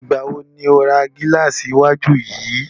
Ìgbà wo ni o ra gílàsì iwájú yìí?